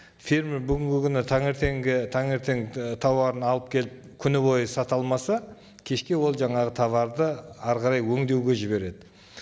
фермер бүгінгі күні таңертеңгі таңертең і тауарын алып келіп күні бойы сата алмаса кешке ол жаңағы тауарды әрі қарай өңдеуге жібереді